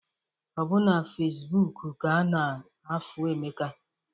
Ọbụ na Fecibuuku ka ana-afụ Emeka.